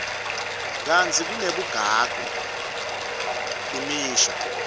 kantsi kunebugagu imisho